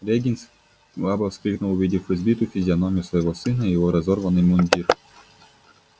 регент слабо вскрикнул увидев избитую физиономию своего сына и его разорванный мундир